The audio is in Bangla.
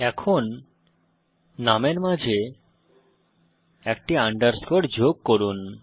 এখন নামের মাঝে একটি আন্ডারস্কোর যোগ করুন